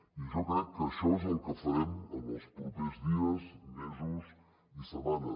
i jo crec que això és el que farem en els propers dies mesos i setmanes